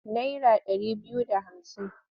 Nara ɗari biyu da hamsin.